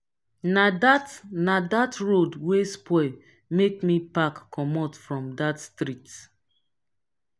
na dat na dat road wey spoil make me pack comot from dat street.